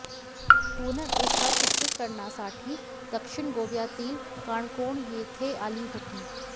पूनम एका चित्रीकरणासाठी दक्षिण गोव्यातील काणकोण येथे आली होती